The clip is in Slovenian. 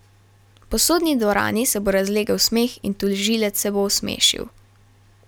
Po sodni dvorani se bo razlegel smeh in tožilec se bo osmešil.